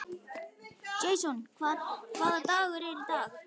Jason, hvaða dagur er í dag?